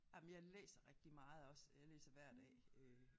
Ej men jeg læser rigtig meget også øh jeg læser hver dag øh